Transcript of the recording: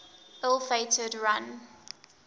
ill fated run